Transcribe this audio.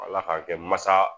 Ala k'a kɛ masa